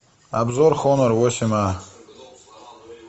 обзор хонор восемь а